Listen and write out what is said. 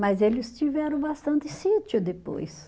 Mas eles tiveram bastante sítio depois.